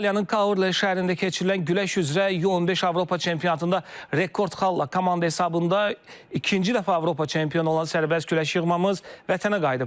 İtaliyanın Kaler şəhərində keçirilən güləş üzrə U-15 Avropa çempionatında rekord xalla komanda hesabında ikinci dəfə Avropa çempionu olan sərbəst güləş yığmamız Vətənə qayıdıb.